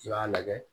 I b'a lajɛ